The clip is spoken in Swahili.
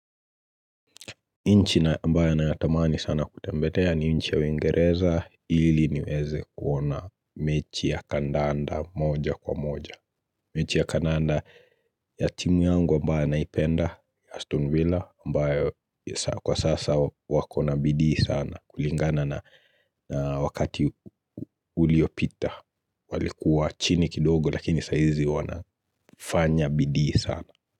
Nchi ambao nayatamani sana kutembelea ni nchi ya uingereza ili niweze kuona mechi ya kandanda moja kwa moja, mechi ya kandanda ya timu yangu ambayo naipenda ya Aston Villa ambayo kwa sasa wako na bidii sana kulingana na wakati uliopita walikuwa chini kidogo lakini saizi wanafanya bidii sana.